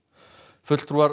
fulltrúar